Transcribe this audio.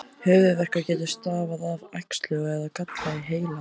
Höfuðverkur getur stafað af æxli eða galla á heilaæðum.